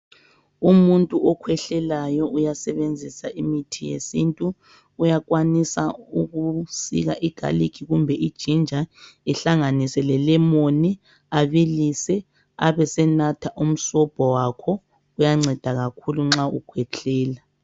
Umuntu okhwehlelayo uyasebenzisa imithi yesintu, uyakwanisa ukusika igalikhi kumbe ijinja ehlanganise lelemoni abilise abesenatha umsobho wakho. Kuyanceda kakhulu nxa ukhwehlela.